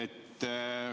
Jah.